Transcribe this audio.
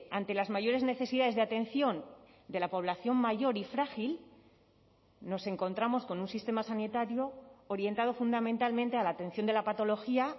ante las mayores necesidades de atención de la población mayor y frágil nos encontramos con un sistema sanitario orientado fundamentalmente a la atención de la patología